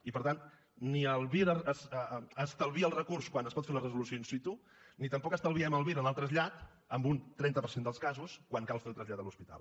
i per tant ni el vir estalvia el recurs quan es pot fer la resolució in situ ni tampoc estalviem el vir en el trasllat en un trenta per cent dels casos quan cal fer el trasllat a l’hospital